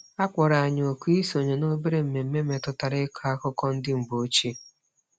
A kpọrọ anyị oku isonye n’obere mmemme metụtara ịkọ akụkọ ndị mgbe ochie.